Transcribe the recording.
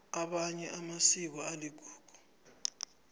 amanye amasiko aligugu